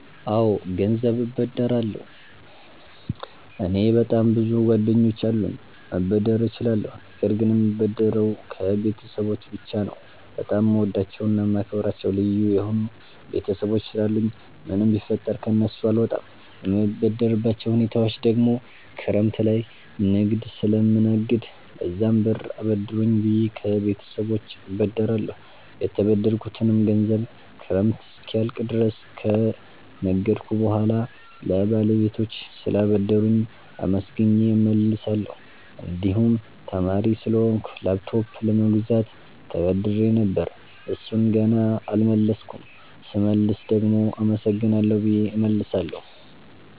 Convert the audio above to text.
አወ ገንዘብ እበደራለሁ። እኔ በጣም ብዙ ጓደኞች አሉኝ መበደር እችላለሁ ነገር ግን የምበደረው ከቤተሰቦቸ ብቻ ነው። በጣም የምወዳቸውና የማከብራቸው ልዩ የሆኑ ቤተሰቦች ስላሉኝ ምንም ቢፈጠር ከነሱ አልወጣም። የምበደርባቸው ሁኔታወች ደግሞ ክረምት ላይ ንግድ ስለምነግድ ለዛም ብር አበድሩኝ ብየ ከቤተሰቦቸ እበደራለሁ። የተበደርኩትንም ገንዘብ ክረምት እስኪያልቅ ድረስ ከነገድኩ በሁዋላ ለባለቤቶቹ ስላበደሩኝ አመስግኘ እመልሳለሁ። እንድሁም ተማሪ ስለሆንኩ ላፕቶፕ ለመግዛት ተበድሬ ነበር እሡን ገና አልመለስኩም ስመልስ ደግሞ አመሰግናለሁ ብየ እመልሳለሁ።